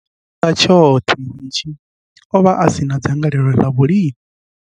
Tshifhinga tshoṱhe hetshi, o vha a si na dzangalelo ḽa vhulimi.